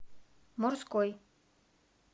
морской